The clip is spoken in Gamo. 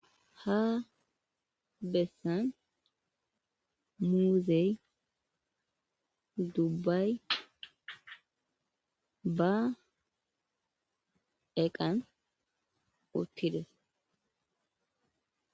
ha bessan muuzey dubbay ba eqan uttides